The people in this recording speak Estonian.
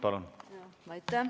Palun!